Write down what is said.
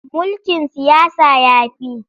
Mulkin siyasa ya fi.